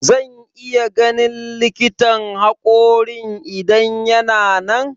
Zan iya ganin likitan haƙorin idan yana nan?